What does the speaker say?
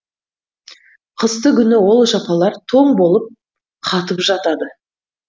қыстыгүні ол жапалар тоң болып қатып жатады